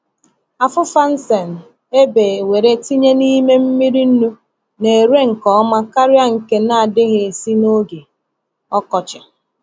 Afufa nsen e bee were tinye n’ime mmiri nnu na-ere nke ọma karịa nke na-adịghị esi n’oge ọkọchị.